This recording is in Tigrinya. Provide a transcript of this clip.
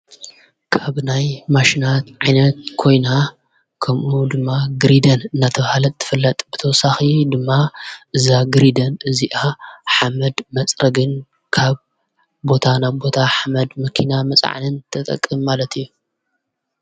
ካብ ናይ ማሽናት ዓይነት ኮይና ከምኡ ድማ ግሪደር ናተብሃለት ትፍለጥ ብተወሳኺ ድማ እዛ ግሪደር እዚኣ ሓመድ መጽረ ግን ካብ ቦታ ና ቦታ ሓመድ መኪና መፃዓንን ተጠቅም ማለት እዩ፡፡